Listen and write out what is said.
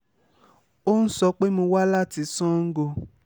ó ń sọ pé mo wá láti sango